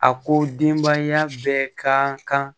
A ko denbaya bɛɛ ka kan